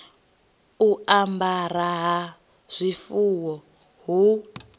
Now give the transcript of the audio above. u amara ha zwifuwo hu